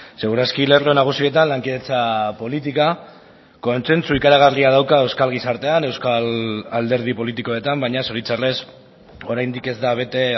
segur aski lerro nagusietan lankidetza politika kontzentzu ikaragarria dauka euskal gizartean euskal alderdi politikoetan baina zoritzarrez oraindik ez da bete